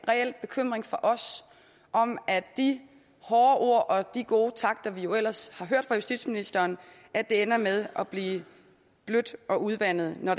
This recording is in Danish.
reel bekymring fra os om at de hårde ord og de gode takter vi jo ellers har hørt fra justitsministeren ender med at blive bløde og udvandede når